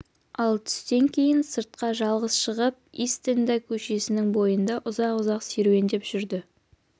ал түстен кейін сыртқа жалғыз шығып истэнда көшесінің бойында ұзақ-ұзақ серуендеп жүрді